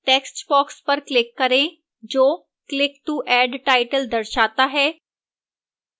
textbox पर click करें जो click to add title दर्शाता है